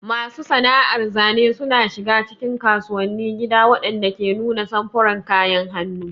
Masu sana'ar zane suna shiga cikin kasuwannin gida waɗanda ke nuna samfuran kayan hannu.